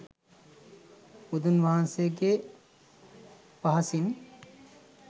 බුදුන් වහන්සේගේ පහසින්